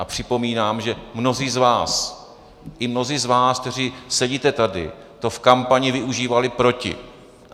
A připomínám, že mnozí z vás, i mnozí z vás, kteří sedíte tady, to v kampani využívali proti.